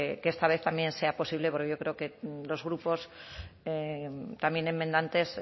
que esta vez también sea posible porque yo creo que los grupos también enmendantes